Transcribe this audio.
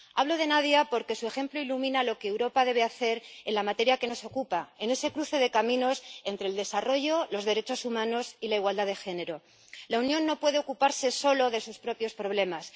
Hablo de Nadia porque su ejemplo ilumina lo que Europa debe hacer en la materia que nos ocupa, en ese cruce de caminos entre el desarrollo, los derechos humanos y la igualdad de género. La Unión no puede ocuparse solo de sus propios problemas.